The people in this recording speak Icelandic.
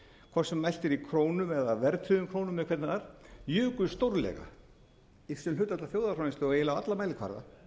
hvort sem mælt er í krónum eða verðtryggðum krónum eða hvernig það er jukust stórlega sem hlutfall af þjóðarframleiðslu á eiginlega alla mælikvarða